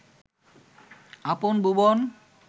আপন ভুবন